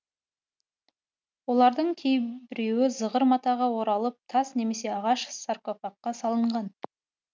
олардың кейбіреуі зығыр матаға оралып тас немесе ағаш саркофагқа салынған